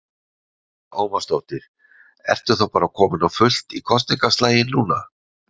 Lára Ómarsdóttir: Ertu þá bara kominn á fullt í kosningaslaginn núna?